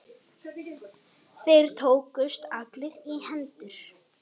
Þeir tókust allir í hendur.